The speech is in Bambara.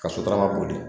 Ka sotarama boli